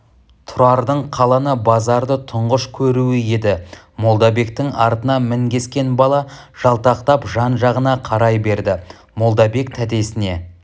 тұрардың қаланы базарды тұңғыш көруі еді молдабектің артына мінгескен бала жалтақтап жан-жағына қарай берді молдабек тәтесіне